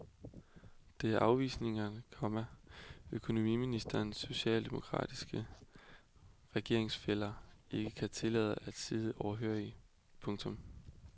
Det er afvisninger, komma økonomiministerens socialdemokratiske regeringsfæller ikke kan tillade sig at sidde overhørige. punktum